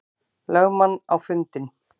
lögmann á fundinn.